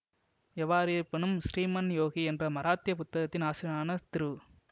எவ்வாறிருப்பினும் ஸ்ரீமன் யோகி என்ற மராத்திய புத்தகத்தின் ஆசிரியரான திரு